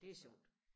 det sjovt